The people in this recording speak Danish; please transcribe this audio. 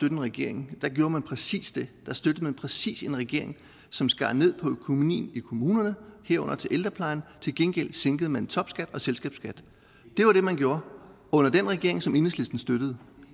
en regering gjorde man præcis det da støttede man præcis en regering som skar ned på økonomien i kommunerne herunder til ældreplejen til gengæld sænkede man topskat og selskabsskat det var det man gjorde under den regering som enhedslisten støttede